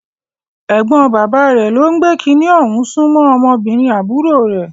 Ẹ̀gbọ́n bàbá rẹ̀ ló ń gbé kiní ọ̀hún sún mọ́ ọmọbìnrin àbúrò rẹ̀.